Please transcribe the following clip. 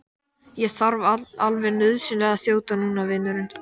Ég þarf alveg nauðsynlega að þjóta núna, vinurinn.